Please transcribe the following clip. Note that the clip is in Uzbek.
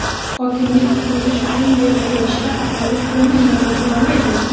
Hokimlik qurilish uchun yer ajratishda aholi fikrini inobatga olmaydimi?.